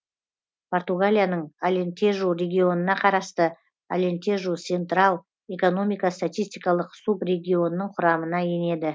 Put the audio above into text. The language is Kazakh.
португалияның алентежу регионына қарасты алентежу сентрал экономика статистикалық субрегионының құрамына енеді